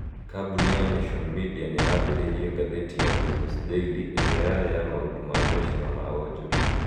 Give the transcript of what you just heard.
Kambuni ya Nation Media nĩ yaambĩrĩirie ngathĩti ya Business Daily ĩrĩa yarĩ ya maũndũ ma mbeca na ma wonjoria.